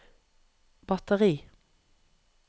batteri